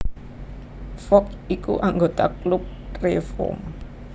Fogg iku anggota Klub Reform